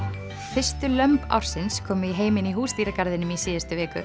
fyrstu lömb ársins komu í heiminn í Húsdýragarðinum í síðustu viku